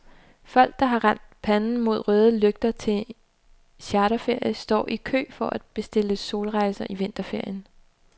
Folk, der har rendt panden mod røde lygter til charterferie, står i kø for at bestille solrejser i vinterferien.